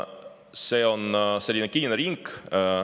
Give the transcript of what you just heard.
See on selline kinnine ring.